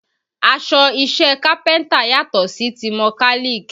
Aṣọ iṣẹ́ kápẹ́ntà yàtọ̀ sí ti mọ́kálìk